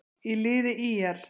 í liði ÍR.